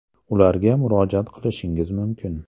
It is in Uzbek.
Ularga murojaat qilishingiz mumkin.